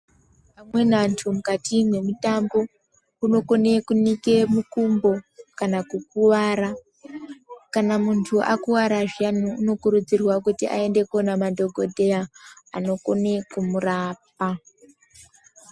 Amweni antu mukati mwemutambo, anokone kunike mukumbo kana kukuwara. Kana muntu akuwara zviyani anokurudzirwe kuti aende kunoona madhokodheya anokone kumurapa.